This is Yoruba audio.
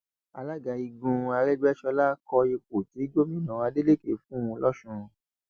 alága igun aregbèsọlá kó ipò tí gómìnà adeleke fún un lọsùn